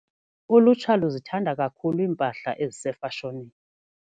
Ulutsha luzithanda kakhulu iimpahla ezisefashonini.